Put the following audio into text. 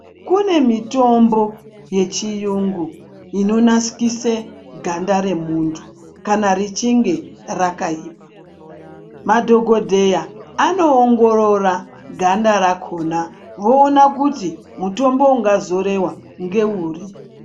Kune mitombo yechiyungu inonakise ganda remuntu kana richinge rakaipa, madhokodheya anoongorora ganda rakhona voona kuti mutombo ungazorewa ngeuri.